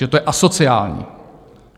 Že to je asociální.